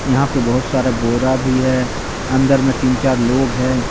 यहां पे बहुत सारा बोरा भी है अंदर में तीन चार लोग है।